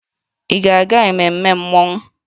Ị ga-aga ememme mmọnwụ?